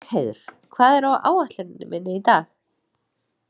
Bergheiður, hvað er á áætluninni minni í dag?